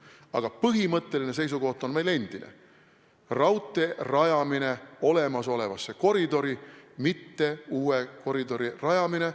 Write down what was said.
Aga põhimõtteline seisukoht on meil endine: raudtee rajamine olemasolevasse koridori, mitte uue koridori rajamine.